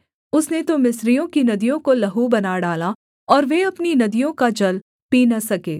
उसने तो मिस्रियों की नदियों को लहू बना डाला और वे अपनी नदियों का जल पी न सके